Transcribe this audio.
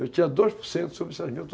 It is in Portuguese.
Eu tinha dois por cento sobre essas mil to